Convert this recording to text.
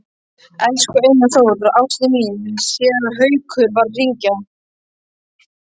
Elsku Einar Þór, ástin mín, Séra Haukur var að hringja.